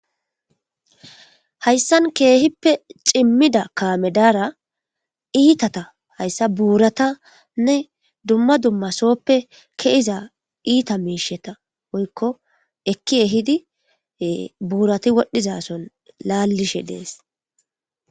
hayssan keehippe cimmida kaame daara iitata hayssa buuratanne dumma dummasooppe kehiza iita miisheta oykko ekki ehidi buurati wodhizason laallishe dees